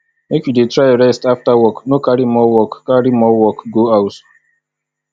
make you dey try rest after work no carry more work carry more work go house